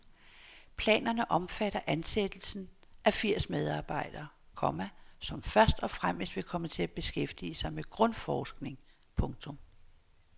Planerne omfatter ansættelsen af firs medarbejdere, komma som først og fremmest vil komme til at beskæftige sig med grundforskning. punktum